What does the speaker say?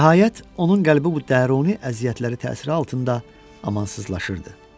Nəhayət, onun qəlbi bu daruni əziyyətləri təsiri altında amansızlaşırdı.